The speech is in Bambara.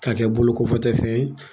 K'a kɛ bolokɔfɛtɔfɛn ye.